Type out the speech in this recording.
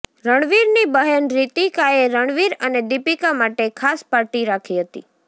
રણવીરની બહેન રિતિકાએ રણવીર અને દીપિકા માટે ખાસ પાર્ટી રાખી હતી